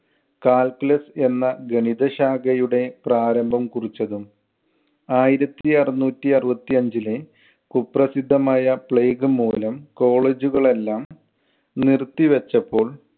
calculus എന്ന ഗണിതശാഖയുടെ പ്രാരംഭം കുറിച്ചതും. ആയിരത്തി അറുനൂറ്റി അറുപത്തി അഞ്ചിലെ കുപ്രസിദ്ധമായ plague മൂലം college കൾ എല്ലാം നിർത്തിവച്ചപ്പോൾ